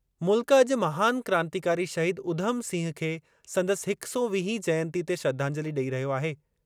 मुल्क अॼु महान क्रांतिकारी शहीद उधम सिंह खे संदसि हिक सौ वीहीं जयंतीअ ते श्रधांजलि ॾेई रहियो आहे।